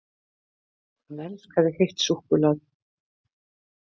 HANN ELSKAÐI HEITT SÚKKULAÐI!